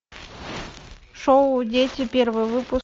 шоу дети первый выпуск